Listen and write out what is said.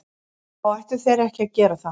Þá ættu þeir ekki að gera það.